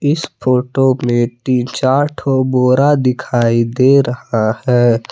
इस फोटो में तीन चार ठो बोरा दिखाई दे रहा है।